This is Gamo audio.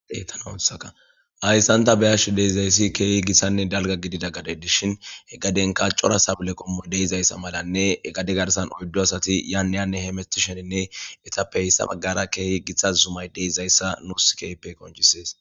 Haysssn ta beashe deizayssi kehi gittane dalgga giddida gadey dishin he gaadenika coora saabile qommoy deizayssa malanne he gaade garssan oyddu asati yane haane hametishinine ettape hessa baggara kehi giita zuumay deizayssa nusi kehippe qonccises.